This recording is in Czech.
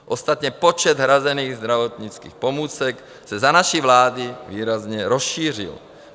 Ostatně počet hrazených zdravotnických pomůcek se za naší vlády výrazně rozšířil.